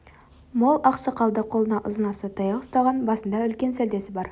мол ақ сақалды қолына ұзын аса таяқ ұстаған басында үлкен сәлдесі бар